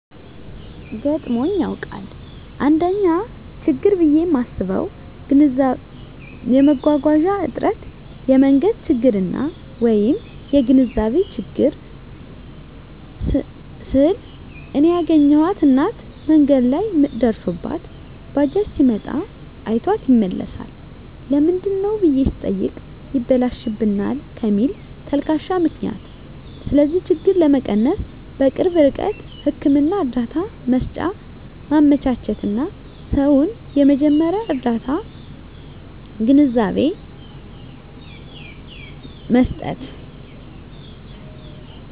ገጥሞኝ ያዉቃል: 1ኛ :ችግር ብየ ማስበዉ የመጓጓዣ እጥረት የመንገድ ችግርና : (የግንዛቤ ችግር) ስል እኔ ያገኘኋት እናት መንገድ ላይ ምጥ ደርሶባት ባጃጅ ሲመጣ አይቷት ይመለሳል ለምንድነው ብየ ስጠይቅ ይበላሽብናል ከሚል ተልካሻ ምክንያት ስለዚህ ችግር ለመቀነስ_በቅርብ ርቀት ህክምና እርዳታ መሰጫ ማመቻቸትና: ሰዉን የመጀመርያ ርዳታ ግንዛቤ መስጠት።